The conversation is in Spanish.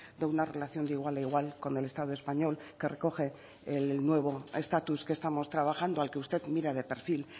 de una relación de igual a igual con el estado español que recoge el nuevo estatus que estamos trabajando al que usted mira de perfil